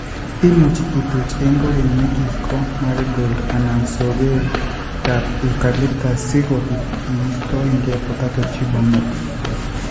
Imuuchi ituch eng' kogeny Megiko Marigold anan sogeekap Eucalptus , si kobiit iistoegei Potato Tuber Moth .